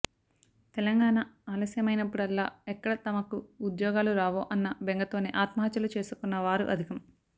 తెలంగాణ ఆలస్యమయినప్పుడల్లా ఎక్కడ తమకు ఉద్యోగాలు రావో అన్న బెంగతోనే ఆత్మహత్యలు చేసుకున్న వారు అధికం